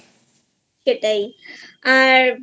সেটাই আর